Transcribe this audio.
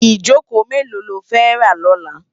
Ijókó méló ló fè rá lòlá?